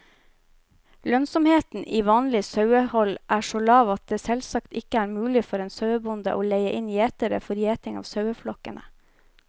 Lønnsomheten i vanlig sauehold er så lav at det selvsagt ikke er mulig for en sauebonde å leie inn gjetere for gjeting av saueflokkene.